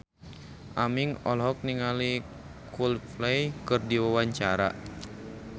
Aming olohok ningali Coldplay keur diwawancara